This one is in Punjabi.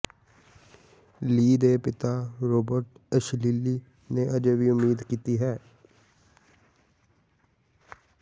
ਲੀ ਦੇ ਪਿਤਾ ਰੌਬਰਟ ਇਸਸੀਲੀ ਨੇ ਅਜੇ ਵੀ ਉਮੀਦ ਕੀਤੀ ਹੈ